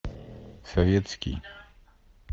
советский